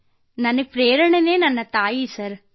ಕೃತ್ತಿಕಾ ನನ್ನ ಪ್ರೇರಣೆ ನನ್ನ ತಾಯಿ ಸರ್